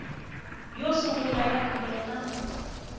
yo sungula ya vito na